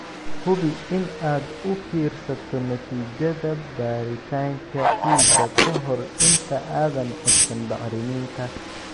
Hubi in aad u fiirsato natiijada baaritaanka ciidda ka hor inta aadan codsan bacriminta.